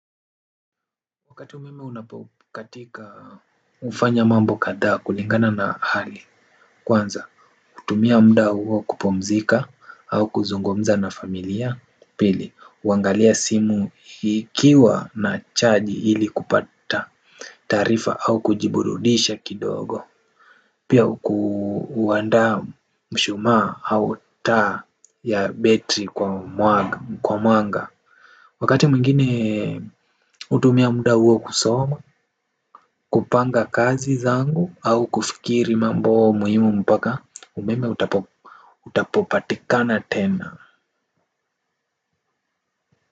Wakati umeme unapokatika ufanya mambo kadhaa kulingana na hali. Kwanza utumia mda huo kupumzika au kuzungumza na familia. Pili, uangalia simu hikiwa na chaji ili kupata taarifa au kujiburudisha kidogo. Pia ku huandaa mshuma au taa ya betri kwa mwanga kwa mwanga wakati mwingine hutumia mda huo kusoma. Kupanga kazi zangu au kufikiri mambo muhimu mpaka umeme utapo utapopatikana tena.